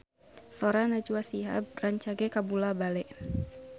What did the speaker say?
Sora Najwa Shihab rancage kabula-bale